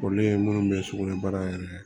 Kɔrɔlen munnu be sugunɛbara yɛrɛ